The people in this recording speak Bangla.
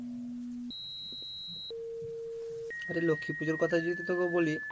আরে লক্ষ্মী পূজোর কথাই যেহেতু তোকে বলি